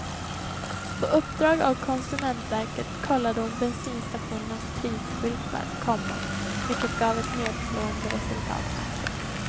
På uppdrag av konsumentverket kollade hon bensinstationernas prisskyltar, komma vilket gav ett nedslående resultat. punkt